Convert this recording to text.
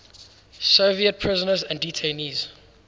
soviet prisoners and detainees